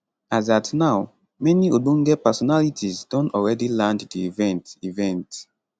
as at now many ogbonge personalities don already land di event event